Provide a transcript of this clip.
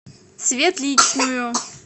светличную